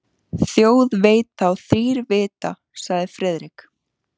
Þjóð veit þá þrír vita sagði Friðrik.